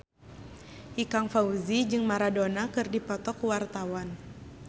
Ikang Fawzi jeung Maradona keur dipoto ku wartawan